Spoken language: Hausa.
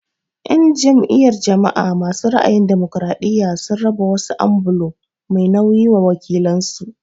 En jam'iyyar jama'a masu ra'ayin damokiraɗiya sun raba wasu ambulo mai nauyi wa wakilan su.